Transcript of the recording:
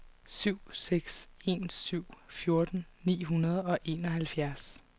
syv seks en syv fjorten ni hundrede og enoghalvfjerds